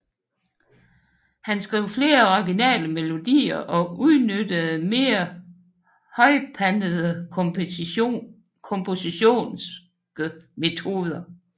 Han skrev flere originale melodier og udnyttede mere højpandede kompositoriske metoder